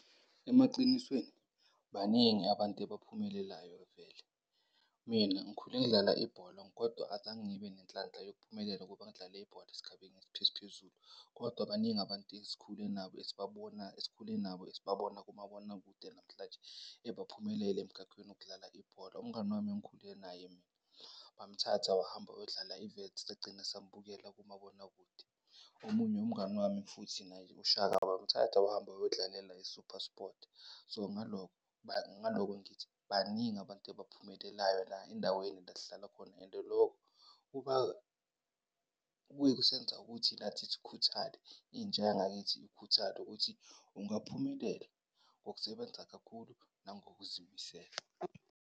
Emaqinisweni baningi abantu ebaphumelelayo kavele. Mina ngikhule ngidlala ibholo kodwa azange ngibe nenhlanhla yokuphumelela ukuba ngidlale ibhola esigabeni esiphezulu. Kodwa baningi abantu esikhule nabo esibabona esikhule nabo esibabona kumabonakude namhlanje ebaphumelele emkhakhweni wokudlala ibhola. Umngani wami engikhule naye mina bamthatha wahamba wayodlala e-Wits sagcina sambukela kumabonakude. Omunye umngani wami futhi naye uShaka wamthatha wahamba wayodlalela i-SuperSport. So, ngalokho ngalokho ngithi baningi abantu ebaphumelelayo la endaweni la esihlala khona and loko kubuye kusenza ukuthi nathi sikhuthale, intsha yangakithi ikhuthale ukuthi ungaphumelela ngokusebenza kakhulu nangokuzimisela.